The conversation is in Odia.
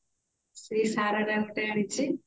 se ଶରାରା ଗୋଟେ ଆନିଛି